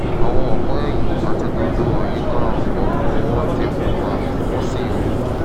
àwọn ọ̀pá ẹ̀yìn àti gbogbo àyíká ọ̀fun wọn ti pupa wọ́n sì wú